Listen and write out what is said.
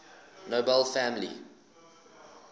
nobel family